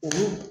O